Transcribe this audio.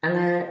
An ka